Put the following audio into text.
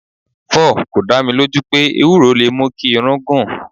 4. Kò dá mi lójú pé Ewúro lè mú kí irun gùn.